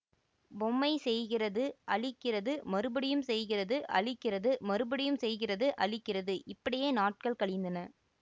பொம்மை செய்கிறது அழிக்கிறது மறுபடியும் செய்கிறது அழிக்கிறது மறுபடியும் செய்கிறது அழிக்கிறது இப்படியே நாட்கள் கழிந்தன